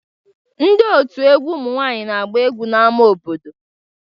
Ndị òtù egwu ụmụ nwaanyị na-agba egwu n'ama obodo.